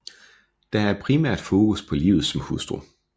Der er primært fokus på livet som hustru